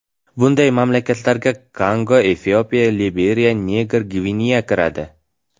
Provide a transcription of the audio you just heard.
Bunday mamlakatlarga Kongo, Efiopiya, Liberiya, Niger, Gvineya kiradi.